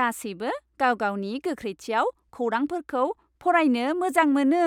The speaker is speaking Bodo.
गासैबो गाव गावनि गोख्रैथियाव खौरांफोरखौ फरायनो मोजां मोनो।